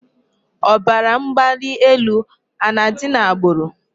Ọbara mgbali elu a na-adị n'agbụrụ?